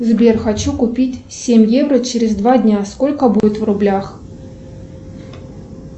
сбер хочу купить семь евро через два дня сколько будет в рублях